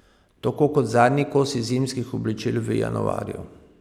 Tako kot zadnji kosi zimskih oblačil v januarju.